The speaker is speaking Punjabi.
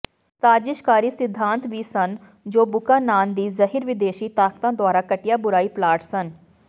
ਸਾਜ਼ਿਸ਼ਕਾਰੀ ਸਿਧਾਂਤ ਵੀ ਸਨ ਜੋ ਬੁਕਾਨਾਨ ਦੀ ਜ਼ਹਿਰ ਵਿਦੇਸ਼ੀ ਤਾਕਤਾਂ ਦੁਆਰਾ ਘਟੀਆ ਬੁਰਾਈ ਪਲਾਟ ਸਨ